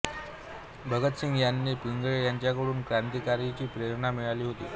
भगतसिंग यांना पिंगळे यांच्याकडूनच क्रांतिकार्याची प्रेरणा मिळाली होती